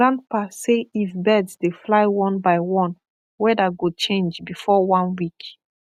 grandpa say if birds dey fly one by one weather go change before one week